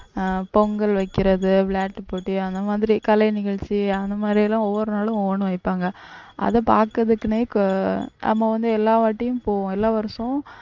அஹ் பொங்கல் வைக்கிறது விளையாட்டுப் போட்டி அந்த மாதிரி கலை நிகழ்ச்சி அந்த மாதிரி எல்லாம் ஒவ்வொரு நாளும் ஒவ்வொண்ணு வைப்பாங்க அதை பார்க்கிறதுக்குன்னே நம்ம வந்து எல்லாவாட்டியும் போவோம் எல்லா வருஷமும்